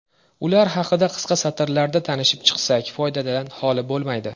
Ular haqida qisqa satrlarda tanishib chiqsak, foydadan holi bo‘lmaydi.